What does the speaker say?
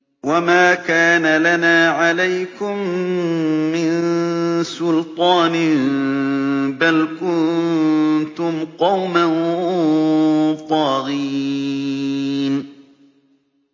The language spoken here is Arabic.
وَمَا كَانَ لَنَا عَلَيْكُم مِّن سُلْطَانٍ ۖ بَلْ كُنتُمْ قَوْمًا طَاغِينَ